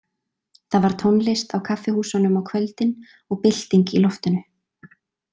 Það var tónlist á kaffihúsunum á kvöldin og bylting í loftinu.